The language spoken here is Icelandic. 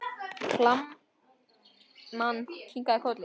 Kalman kinkaði kolli.